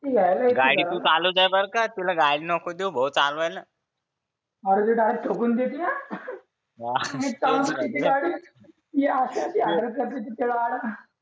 ती घ्यायला येते गाडी तू चालव बरं का ती गाडी नको देऊ भाऊ चालवायला अरे ती डायरेक्ट ठोकून देते हा